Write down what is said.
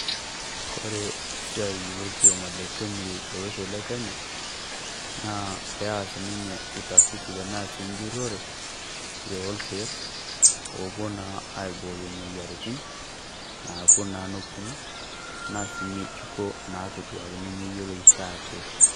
Kore esiai lo orkioma le KEMRI tolosho le Kenya, naa pee aas ninye [cs utafiti tana sii njurore nyo ilkeek. Opoo naa aibooyo moyiaritin naapo naa noponu tana si nyejuko natoduaki nemeiyelo shaake.